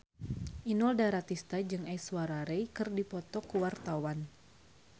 Inul Daratista jeung Aishwarya Rai keur dipoto ku wartawan